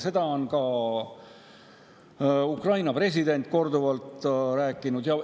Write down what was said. Seda on ka Ukraina president korduvalt rääkinud.